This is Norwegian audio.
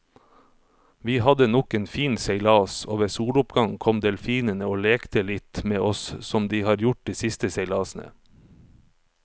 Vi hadde nok en fin seilas, og ved soloppgang kom delfinene og lekte litt med oss som de har gjort de siste seilasene.